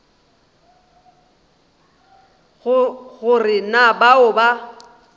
go re na bao ba